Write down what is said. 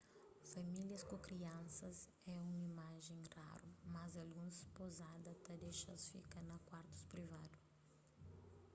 famílias ku kriansas é un imajen raru mas alguns pozada ta dexa-s fika na kuartus privadu